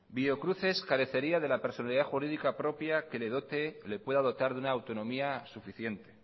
biocruces carecería de la personalidad jurídica propia que le dote le pueda dotar de una autonomía suficiente